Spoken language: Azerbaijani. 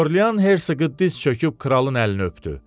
Orlean Hersoqu diz çöküb kralın əlini öpdü.